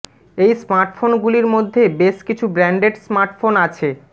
এই স্মার্টফোন গুলির মধ্যে বেশ কিছু ব্র্যান্ডেড স্মার্টফোন আছে